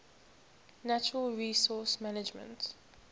natural resource management